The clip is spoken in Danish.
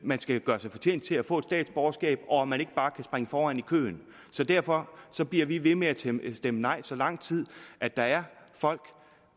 at man skal gøre sig fortjent til at få et statsborgerskab og at man ikke bare kan springe foran i køen derfor bliver vi ved med at stemme stemme nej så lang tid der er folk